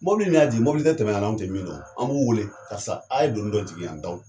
Mɔbili min y'a jigin mɔbili tɛ tɛmɛ an na, anw te min don, an b'u weele karisa a ye donni dɔ jigin yan.